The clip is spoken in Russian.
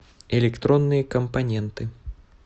электронные компоненты